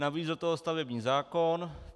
Navíc do toho stavební zákon.